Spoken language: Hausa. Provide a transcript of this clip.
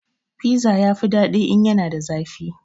Fiza ya fi daɗi in yana da zafi